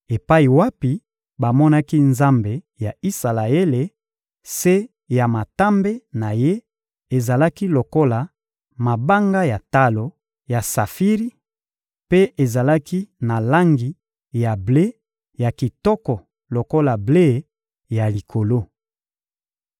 epai wapi bamonaki Nzambe ya Isalaele; se ya matambe na Ye ezalaki lokola mabanga ya talo ya safiri mpe ezalaki na langi ya ble ya kitoko lokola ble ya likolo.